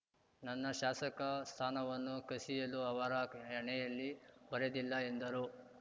ನನ್ನ ಶಾಸಕ ಸ್ಥಾನವನ್ನು ಕಸಿಯಲು ಅವರ ಹಣೆಯಲ್ಲಿ ಬರೆದಿಲ್ಲ ಎಂದರು